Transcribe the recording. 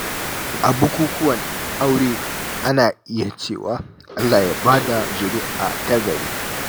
A bukukuwan aure, ana iya cewa “Allah ya ba da zuri’a ta gari.”